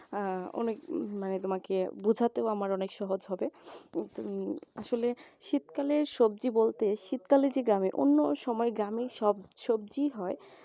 আহ অনেক মানে তোমাকে বোঝাতেও আমার উম অনেক সহজ হবে কিন্তু আসলে শীতকালে সবজি বলতে শীতকালে কি দেখো অন্য সময় গ্রামে সব সবজিই হয়।